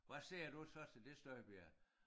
Hvad siger du så til det Støjberg?